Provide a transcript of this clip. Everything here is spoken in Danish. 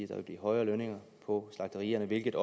der vil blive højere lønninger på slagterierne hvilket